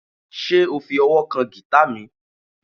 Ṣe o fi ọwọ kan gita mi?